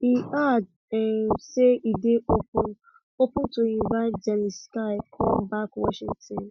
e add um say e dey open open to invite zelensky come back washington